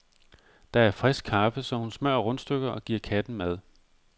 Der er frisk kaffe, så hun smører rundstykker og giver katten mad.